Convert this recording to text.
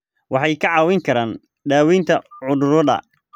Waxay kaa caawin karaan daaweynta cudurrada.